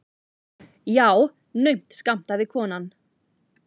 Já, naumt skammtaði konan.